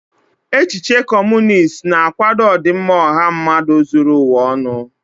Echiche Kọmunist na-akwado ọdịmma ọha mmadụ zuru ụwa ọnụ.